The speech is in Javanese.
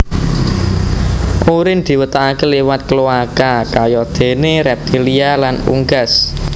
Urin diwetokaké liwat kloaka kayadéné reptilia lan unggas